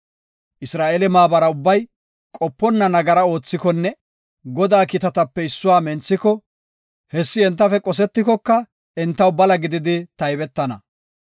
Isra7eele maabara ubbay qoponna nagara oothikonne Godaa kiitatape issuwa menthiko hessi entafe qosetikoka entaw bala gididi taybetana.